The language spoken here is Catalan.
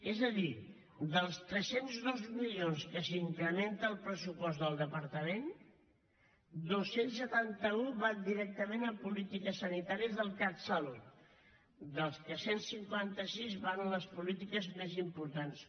és a dir dels tres cents i dos milions que s’incrementa el pressupost del departament dos cents i setanta un van directament a polítiques sanitàries del catsalut dels quals cent i cinquanta sis van a les polítiques més importants